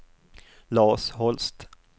Lars Holst